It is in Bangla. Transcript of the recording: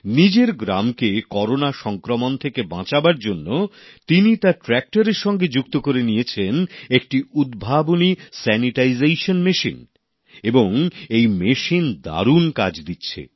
নিজের গ্রামকে করোনা সংক্রমণ থেকে বাঁচানোর জন্য তিনি তার ট্র্যাক্টরএর সঙ্গে যুক্ত করে নিয়েছেন একটি উদ্ভাবনী স্যানিটাইজেশান মেশিন এবং এই মেশিন দারুন কাজ করছে